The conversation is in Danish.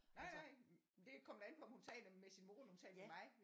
Nej nej det kommer da an på om hun taler med sin mor eller om hun taler med mig